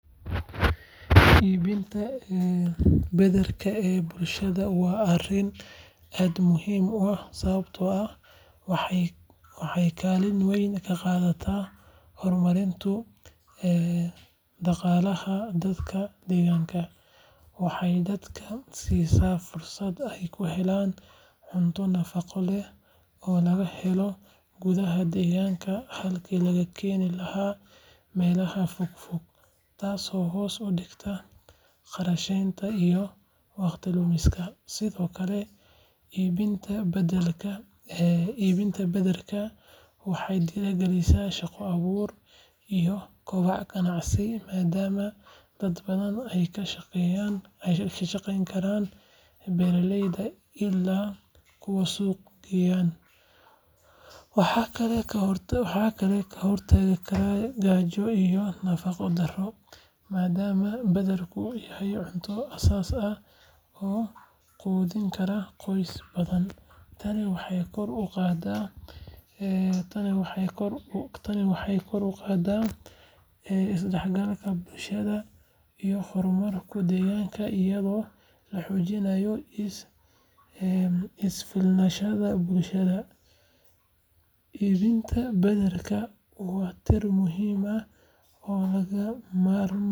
Iibinta badarka ee bulshada waa arrin aad muhiim u ah sababtoo ah waxay kaalin weyn ka qaadataa horumarinta dhaqaalaha dadka deegaanka. Waxay dadka siisaa fursad ay ku helaan cunto nafaqo leh oo laga helo gudaha deegaanka halkii laga keeni lahaa meelaha fogfog, taasoo hoos u dhigta kharashaadka iyo waqti lumiska. Sidoo kale, iibinta badarka waxay dhiirrigelisaa shaqo abuur iyo kobaca ganacsiga maadaama dad badan ay ka shaqayn karaan beeralayda ilaa kuwa suuq geynta. Waxay kaloo ka hortagtaa gaajo iyo nafaqo darro maadaama badarku yahay cunto asaas ah oo quudin kara qoysas badan. Tani waxay kor u qaadaysaa isdhexgalka bulshada iyo horumarka deegaanka iyadoo la xoojinayo isku filnaanshaha bulshada. Iibinta badarka waa tiir muhiim ah oo lagama maarmaan.